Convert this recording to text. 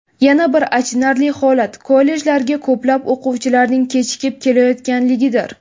Yana bir achinarli holat, kollejlarga ko‘plab o‘quvchilarning kechikib kelayotganligidir.